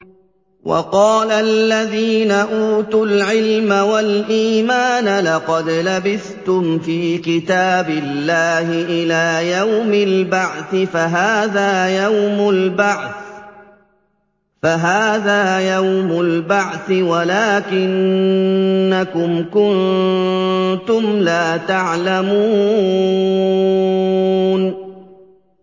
وَقَالَ الَّذِينَ أُوتُوا الْعِلْمَ وَالْإِيمَانَ لَقَدْ لَبِثْتُمْ فِي كِتَابِ اللَّهِ إِلَىٰ يَوْمِ الْبَعْثِ ۖ فَهَٰذَا يَوْمُ الْبَعْثِ وَلَٰكِنَّكُمْ كُنتُمْ لَا تَعْلَمُونَ